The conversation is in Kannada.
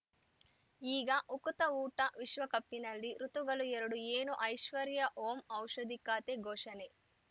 ಈಗ ಉಕುತ ಊಟ ವಿಶ್ವಕಪಿನಲ್ಲಿ ಋತುಗಳು ಎರಡು ಏನು ಐಶ್ವರ್ಯಾ ಓಂ ಔಷಧಿ ಖಾತೆ ಘೋಷಣೆ